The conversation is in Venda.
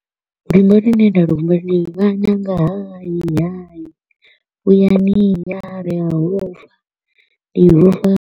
Luimbo lune nda lu humbula ndi ṅwananga hayi, hayi, vhuyani haa, ndi a hofha, ndi ofha.